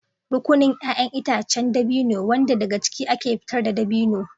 Rukunin 'ya'yan itacen dabino, wanda daga ciki ake fitar da dabino.